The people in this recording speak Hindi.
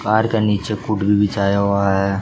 कार के नीचे बिछाया हुआ है।